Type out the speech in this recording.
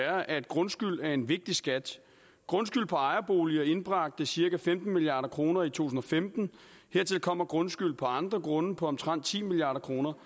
er at grundskyld er en vigtig skat grundskyld på ejerboliger indbragte cirka femten milliard kroner i to tusind og femten hertil kommer grundskyld fra andre grunde på omtrent ti milliard kroner